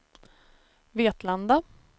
Vetlanda